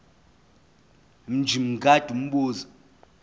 mj mngadi umbuzo